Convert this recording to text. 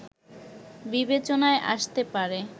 বিবেচনায় আসতে পারে